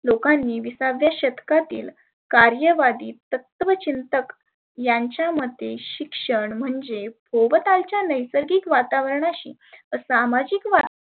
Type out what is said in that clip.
लोकांनी विसाव्या शतकातील कार्य वाटीक तत्वचिंतक यांच्या मते शिक्षण म्हणजे भोवतालच्या नैसर्गिक वातावर्णाशी सामाजीक